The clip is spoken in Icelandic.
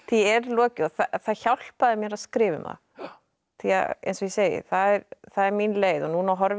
er lokið og það hjálpaði mér að skrifa um það því eins og ég segi það er það er mín leið núna horfi ég